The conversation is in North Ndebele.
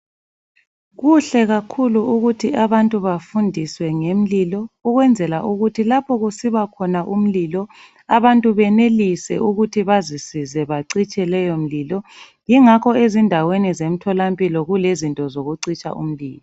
Kuhle kakhulu ukuthi abantu bafundiswe ngemlilo ukwenzela ukuthi lapho kusiba khona umlilo abantu benelise ukuthi bazisize bacitshe leyo mlilo yingakho ezindaweni zemtholampilo kulezinto zokucitsha umlilo